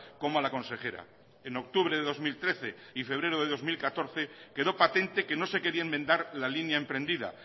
como a la consejera en octubre de dos mil trece y febrero de dos mil catorce quedó patente que no se quería enmendar la línea emprendida